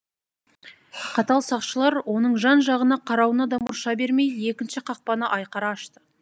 қатал сақшылар оныңжан жағына қарауына да мұрша бермей екінші қақпаны айқара ашты